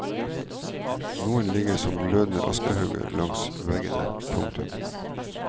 Noen ligger som glødende askehauger langs veggene. punktum